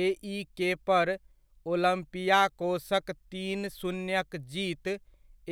एइके पर ओलम्पियाकोसक तीन शून्य'क जीत